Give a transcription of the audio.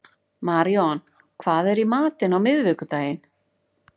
Maríon, hvað er í matinn á miðvikudaginn?